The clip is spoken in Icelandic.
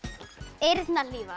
eyrnahlífar